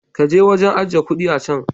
Ka je wajen ajiye kuɗi a can.